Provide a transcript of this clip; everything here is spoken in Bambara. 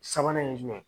Sabanan ye jumɛn ye